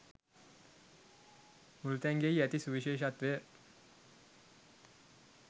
මුළුතැන්ගෙයි ඇති සුවිශේෂත්වය